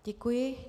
Děkuji.